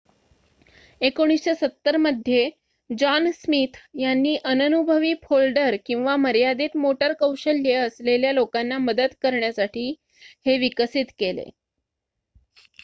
१९७० मध्ये John Smith यांनी अननुभवी फोल्डर किंवा मर्यादित मोटर कौशल्ये असलेल्या लोकांना मदत करण्यासाठी हे विकसित केले